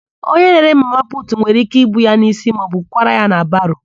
Onye na-ere mama putu nwere íké ibu ya n'ísí maọbụ kwara ya na baro.